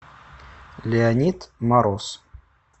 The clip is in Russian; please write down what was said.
леонид мороз